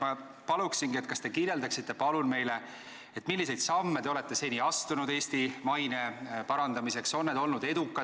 Ma paluksingi, et te kirjeldaksite meile, milliseid samme te olete seni astunud Eesti maine parandamiseks, on need olnud